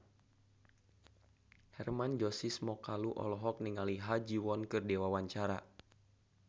Hermann Josis Mokalu olohok ningali Ha Ji Won keur diwawancara